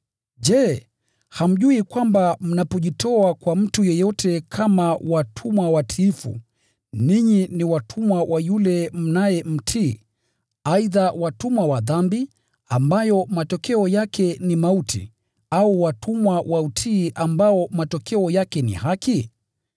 Je, hamjui kwamba mnapojitoa kwa mtu yeyote kama watumwa watiifu, ninyi ni watumwa wa yule mnayemtii, aidha watumwa wa dhambi, ambayo matokeo yake ni mauti, au watumwa wa utii ambao matokeo yake ni haki?